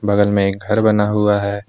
बगल में एक घर बना हुआ है।